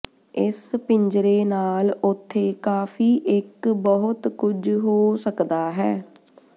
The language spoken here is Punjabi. ਇਸ ਪਿੰਜਰੇ ਨਾਲ ਉੱਥੇ ਕਾਫ਼ੀ ਇੱਕ ਬਹੁਤ ਕੁਝ ਹੋ ਸਕਦਾ ਹੈ